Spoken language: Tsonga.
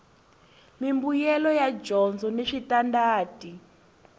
mimbuyelo ya dyondzo ni switandati